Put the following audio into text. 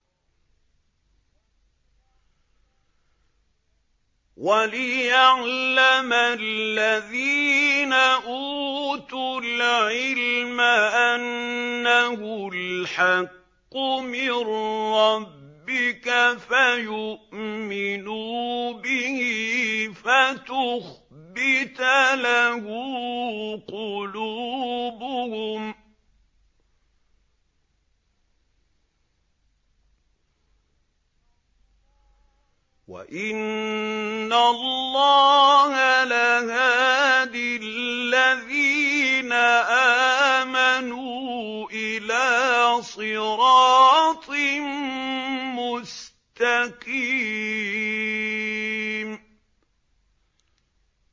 وَلِيَعْلَمَ الَّذِينَ أُوتُوا الْعِلْمَ أَنَّهُ الْحَقُّ مِن رَّبِّكَ فَيُؤْمِنُوا بِهِ فَتُخْبِتَ لَهُ قُلُوبُهُمْ ۗ وَإِنَّ اللَّهَ لَهَادِ الَّذِينَ آمَنُوا إِلَىٰ صِرَاطٍ مُّسْتَقِيمٍ